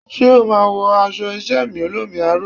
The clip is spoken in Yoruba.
Ṣé o máa wọ aṣọ iṣẹ́ mi olómi aró?